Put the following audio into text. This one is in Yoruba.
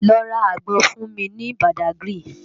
Lò rá ágbòn fún mi ni Bádágiri